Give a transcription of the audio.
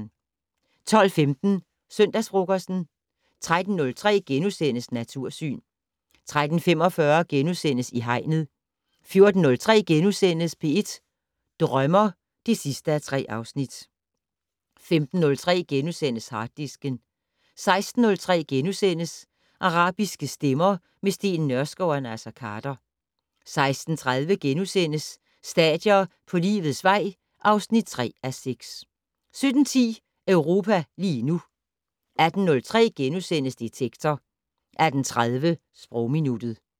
12:15: Søndagsfrokosten 13:03: Natursyn * 13:45: I Hegnet * 14:03: P1 Drømmer (3:3)* 15:03: Harddisken * 16:03: Arabiske stemmer - med Steen Nørskov og Naser Khader * 16:30: Stadier på livets vej (3:6)* 17:10: Europa lige nu 18:03: Detektor * 18:30: Sprogminuttet